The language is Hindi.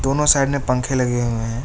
दोनो साइड मे पंखे लगे हुए है।